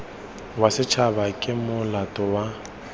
wa setšhaba ke molato wa